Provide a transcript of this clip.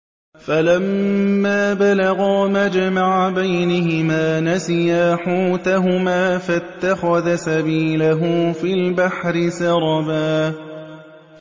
فَلَمَّا بَلَغَا مَجْمَعَ بَيْنِهِمَا نَسِيَا حُوتَهُمَا فَاتَّخَذَ سَبِيلَهُ فِي الْبَحْرِ سَرَبًا